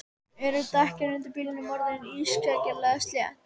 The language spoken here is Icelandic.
Eru dekkin undir bílnum þínum orðin ískyggilega slétt?